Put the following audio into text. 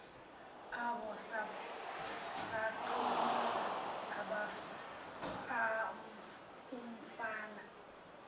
abo sathumela umfana